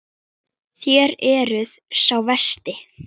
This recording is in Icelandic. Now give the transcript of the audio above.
Þér eruð sá versti.